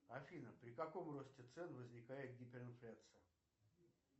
афина при каком росте цен возникает гиперинфляция